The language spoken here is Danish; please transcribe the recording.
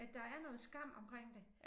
At der er noget skam omkring det